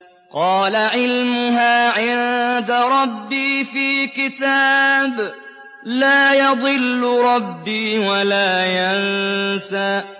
قَالَ عِلْمُهَا عِندَ رَبِّي فِي كِتَابٍ ۖ لَّا يَضِلُّ رَبِّي وَلَا يَنسَى